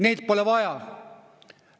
Neid pole vaja.